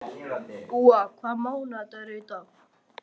Úa, hvaða mánaðardagur er í dag?